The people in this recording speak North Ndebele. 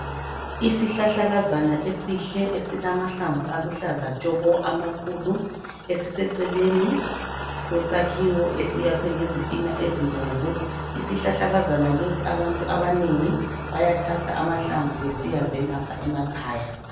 Isihlahlakazana esihle esilamahlamvu aluhlaza tshoko amakhulu, esiseceleni lwesakhiwo esiyakhwe ngezitina ezibomvu. Isihlahlakazana lesi abantu abanengi bayathatha amahlamvu besiyazelapha emakhaya.